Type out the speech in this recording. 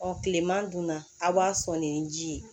kilema dun na a b'a sɔn nin ji ye